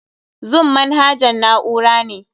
Zoom manahajan na'ura ne.